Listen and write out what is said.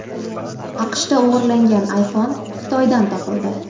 AQShda o‘g‘irlangan iPhone Xitoydan topildi.